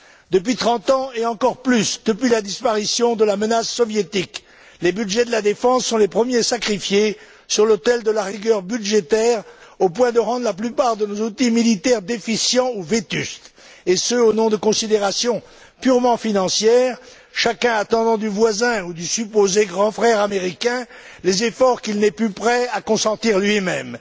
Depuis trente ans, et plus encore depuis la disparition de la menace soviétique, les budgets de la défense sont les premiers sacrifiés sur l'autel de la rigueur budgétaire, au point de rendre la plupart de nos outils militaires déficients ou vétustes, et ce, au nom de considérations purement financières, chacun attendant du voisin ou du supposé grand frère américain les efforts qu'il n'est plus prêt à consentir lui même.